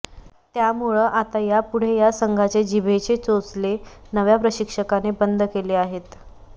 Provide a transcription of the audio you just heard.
त्यामुळं आता यापुढे या संघाचे जिभेचे चोचले नव्या प्रशिक्षकाने बंद केले आहेत